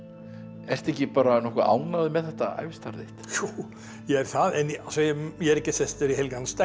ertu ekki bara nokkuð ánægður með þetta ævistarf þitt jú ég er það en ég er ekki sestur í helgan stein